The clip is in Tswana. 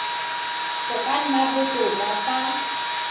go ka nna botoka fa